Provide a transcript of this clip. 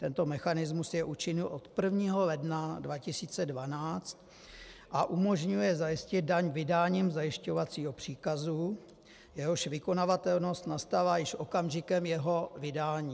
Tento mechanismus je účinný od 1. ledna 2012 a umožňuje zajistit daň vydáním zajišťovacího příkazu, jehož vykonavatelnost nastává již okamžikem jeho vydání.